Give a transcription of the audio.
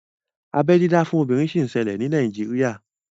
Abeẹ dídá fún obìnrin sì ń ṣẹlẹ̀ ní Nàíjírìà